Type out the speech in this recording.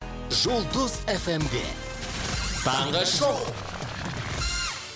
жұлдыз эф эм де таңғы шоу